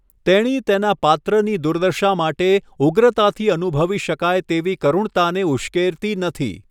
તેણી તેના પાત્રની દુર્દશા માટે ઉગ્રતાથી અનુભવી શકાય તેવી કરુણતાને ઉશ્કેરતી નથી.